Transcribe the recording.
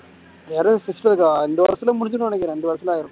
யாராவது இந்த வருஷத்துல முடிஞ்சிரும்ன்னு நினைக்கறேன் இந்த வருஷத்துல